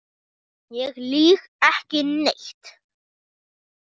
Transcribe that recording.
Ég lýg ekki neitt.